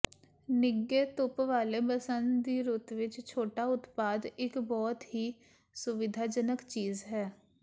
ਨਿੱਘੇ ਧੁੱਪ ਵਾਲੇ ਬਸੰਤ ਦੀ ਰੁੱਤ ਵਿੱਚ ਛੋਟਾ ਉਤਪਾਦ ਇੱਕ ਬਹੁਤ ਹੀ ਸੁਵਿਧਾਜਨਕ ਚੀਜ਼ ਹੈ